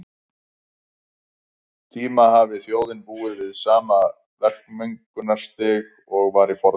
tíma hafi þjóðin búið við sama verkmenningarstig og var í fornöld.